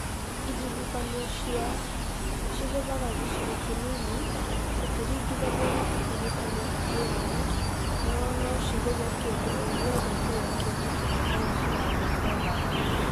ĩhuhũkanio cia tornadoes cigũthaga gĩcigo kĩnini ikĩringithanio na ihuhũkanio ingĩ nene, no no cithũkie kĩndũ o gĩothe kĩrĩa kĩngĩkorwo haria ciragerera.